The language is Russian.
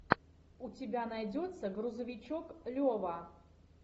у тебя найдется грузовичок лева